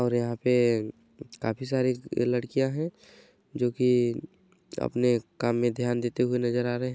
और यहाँ पे काफी सारी लड़किया है जो कि अपने काम में ध्यान देते हुए नजर आ रहे हैं।